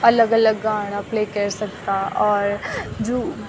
अलग-अलग गाणा प्ले कैर सकदा और जू --